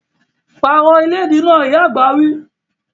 Pààrọ̀ ìlédìí náà! Ìyá àgbà wí